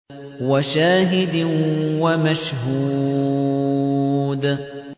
وَشَاهِدٍ وَمَشْهُودٍ